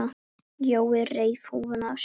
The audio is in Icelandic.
Jói reif húfuna af sér.